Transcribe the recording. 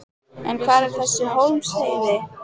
En hvar er þessi Hólmsheiði?